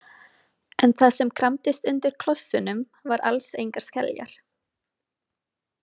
En það sem kramdist undir klossunum var alls engar skeljar.